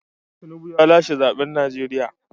Tinubu ya lashe zaben Najeriya.